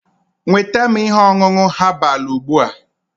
nweta m ihe ọṅụṅụ herbal ugbu a!